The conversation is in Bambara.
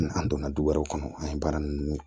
N'an donna du wɛrɛw kɔnɔ an ye baara ninnu